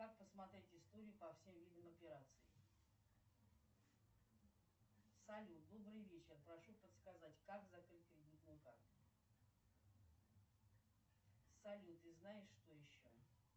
как посмотреть историю по всем видам операций салют добрый вечер прошу подсказать как закрыть кредитную карту салют и знаешь что еще